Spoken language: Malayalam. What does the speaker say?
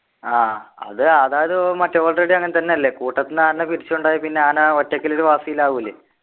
ആഹ് അത് അതായത് മറ്റേ already അങ്ങനെതന്നെ അല്ലെ കൂട്ടത്തിന്ന് ആനനെ പിരിച്ചു കൊണ്ടുപോയ പിന്നെ ആന ഒറ്റക്കൽ ഒരു വാസിയിൽ ആവൂലെ